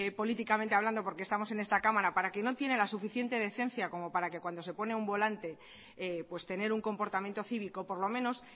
políticamente hablando porque estamos en esta cámara para quien no tiene la suficiente decencia como para que cuando se pone a un volante pues tener un comportamiento cívico por lo menos